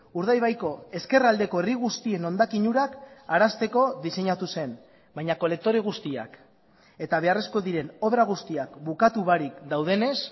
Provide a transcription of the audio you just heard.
urdaibaiko ezkerraldeko herri guztien hondakin urak arazteko diseinatu zen baina kolektore guztiak eta beharrezkoak diren obra guztiak bukatu barik daudenez